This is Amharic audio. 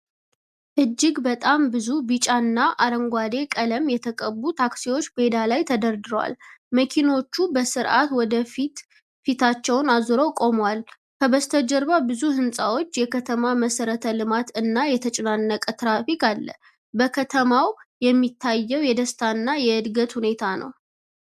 እጅግ በጣም ብዙ ቢጫ እና አረንጓዴ ቀለም የተቀቡ ታክሲዎች ሜዳ ላይ ተደርድረዋል። መኪናዎቹ በስርዓት ወደፊት ፊታቸውን አዙረው ቆመዋል። ከበስተጀርባ ብዙ ህንጻዎች፣ የከተማ መሠረተ ልማት እና የተጨናነቀ ትራፊክ አለ። በከተማው የሚታየው የደስታ እና የዕድገት ሁኔታ ነው።